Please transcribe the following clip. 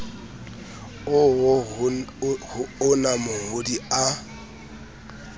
oo ho ona mongodi a